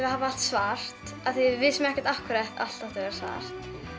að hafa allt svart af því við vissum ekkert af hverju allt ætti að vera svart